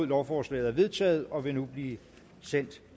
lovforslaget er vedtaget og vil nu blive sendt